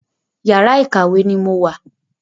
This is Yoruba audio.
Yàrá ìkàwé ni mo wà.